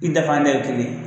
I dafa dɛ o ye kelen ye.